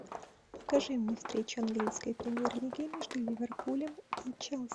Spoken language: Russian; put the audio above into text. покажи мне встречу английской премьер лиги между ливерпулем и челси